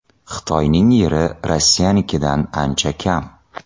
Xitoyning yeri Rossiyanikidan ancha kam.